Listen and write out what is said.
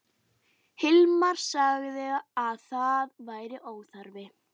Hilmar sagði að það væri óþarfi.